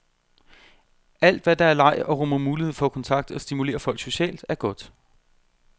Alt, hvad der er leg og rummer mulighed for kontakt og stimulerer folk socialt, er godt.